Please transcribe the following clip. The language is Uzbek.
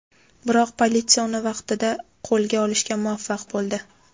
Biroq politsiya uni vaqtida qo‘lga olishga muvaffaq bo‘ldi.